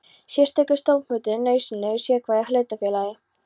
Sérstakur stofnfundur er nauðsynlegur í sérhverju hlutafélagi.